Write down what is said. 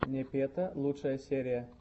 непета лучшая серия